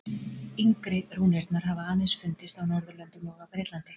Yngri rúnirnar hafa aðeins fundist á Norðurlöndum og á Bretlandi.